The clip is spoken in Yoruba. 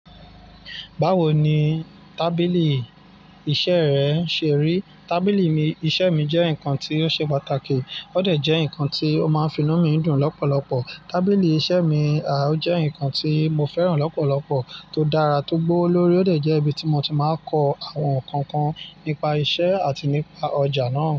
Báwo ni tábìlì iṣẹ́ rẹ ṣe rí? Tábìlì iṣẹ́ mi jẹ́ nǹkan tí ó ṣe pàtàkì, ó de jẹ́ ǹkan tí ó máa ń fi inú mi dùn lọ́pọ̀lọpọ̀. Tábìlì iṣẹ́ mi, ó jẹ́ ǹkan tí mo fẹ́ràn lọ́pọ̀lọpọ̀, tó dára, tó gbówó lórí, ó de jẹ́ ibi tí mo ti máa ń kọ àwọn ǹkan kan, nípa iṣẹ́ àti nípa ọjà náà.